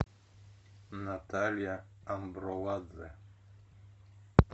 наталья амбруладзе